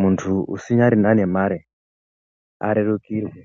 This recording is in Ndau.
muntu usinyarina ngemare arerukirwe.